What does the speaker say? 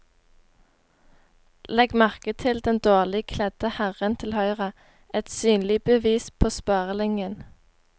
Legg merke til den dårlig kledde herren til høyre, et synlig bevis på sparelinjen.